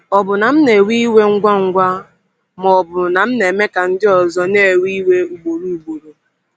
Ọ̀ bụ na m na-ewe iwe ngwa ngwa, ma ọ bụ na m na-eme ka ndị ọzọ na-ewe iwe ugboro ugboro?